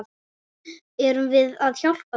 Erum við að hjálpa þeim?